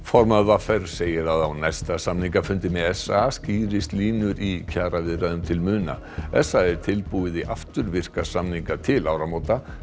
formaður v r segir að á næsta samningafundi með s a skýrist línur í kjaraviðræðum til muna s a er tilbúið í afturvirka samninga til áramóta